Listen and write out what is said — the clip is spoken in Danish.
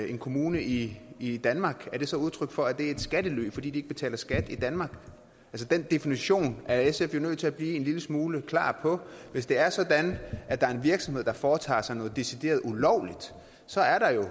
en kommune i i danmark er det så udtryk for at de er i skattely fordi de ikke betaler skat i danmark den definition er sf jo nødt til at blive en lille smule klar på hvis det er sådan at der er en virksomhed der foretager sig noget decideret ulovligt så er der jo